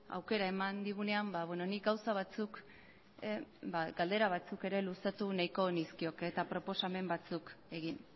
aukera eman digunean nik gauza batzuk galdera batzuk ere luzatu nahiko nizkioke eta proposamen batzuk egin